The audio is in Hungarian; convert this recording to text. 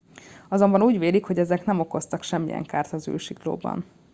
azonban úgy vélik hogy ezek nem okoztak semmilyen kárt az űrsiklóban